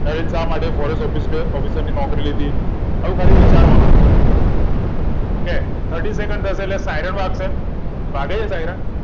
નરેન શા માટે forest officer ની નોકરી લીધી આવું ખાલી વિચારવા નું છે તમારે okaythirtysecond એટલે siren વાગશે વાગે છે siren